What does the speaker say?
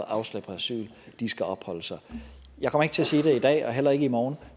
afslag på asyl skal opholde sig jeg kommer ikke til at sige det i dag og heller ikke i morgen